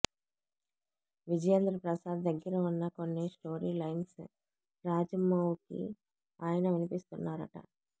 విజయేంద్ర ప్రసాద్ దగ్గర ఉన్న కొన్ని స్టోరీ లైన్స్ రాజమౌకి ఆయన వినిపిస్తున్నారట